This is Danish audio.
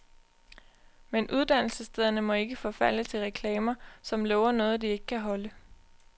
Men uddannelsesstederne må ikke forfalde til reklamer, som lover noget, de ikke kan holde.